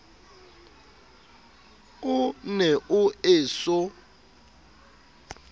o ne o e so